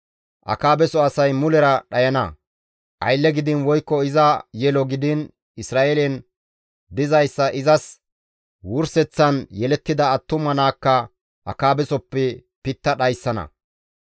Akaabeso asay mulera dhayana; aylle gidiin woykko iza yelo gidiin Isra7eelen dizayssa izas wurseththan yelettida attuma naakka Akaabesoppe pitta dhayssana.